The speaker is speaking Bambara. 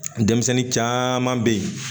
Denmisɛnnin caman bɛ yen